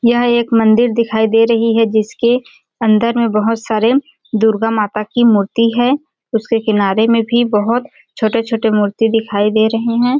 यह एक मंदिर दिखाई दे रही है जिसके अंदर में बहुत सारे दुर्गा माता की मूर्ति है उसके किनारे में भी बहुत छोटे-छोटे मूर्ति दिखाई दे रही हैं।